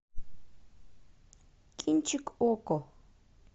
кинчик окко